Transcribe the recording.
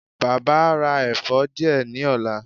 Baba a ra ẹfọ diẹ ni ọla